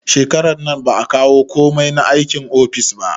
Shekarar nan ba a kawo komai na aikin office ba